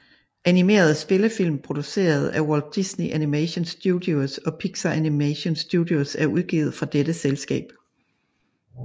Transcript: Animerede spillefilm produceret af Walt Disney Animation Studios og Pixar Animation Studios er også udgivet fra dette selskab